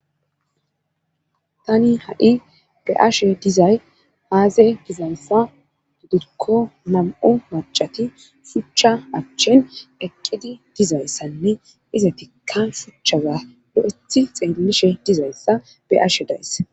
tani ha7i be ashe dizay haaze dizayssa dudikko nam7u macati shuchcha achchen eqqidi dizayssanne ize tikkan shuchchawa do7ethi xeellishe dizayssa be ashe days